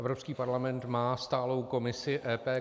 Evropský parlament má stálou komisi EP -